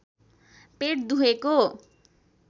पेट दुखेको